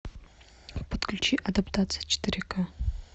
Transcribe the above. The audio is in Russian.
подключи адаптация четыре ка